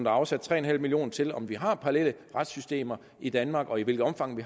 afsat tre million kroner til af om vi har parallelle retssystemer i danmark og i hvilket omfang